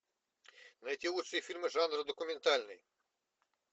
найти лучшие фильмы жанра документальный